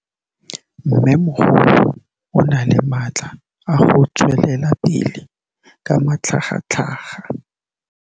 Mmêmogolo o na le matla a go tswelela pele ka matlhagatlhaga.